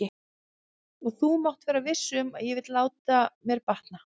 Og þú mátt vera viss um að ég vil láta mér batna.